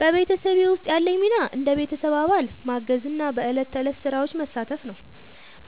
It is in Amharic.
በቤተሰቤ ውስጥ ያለኝ ሚና እንደ ቤተሰብ አባል ማገዝና በዕለት ተዕለት ሥራዎች መሳተፍ ነው።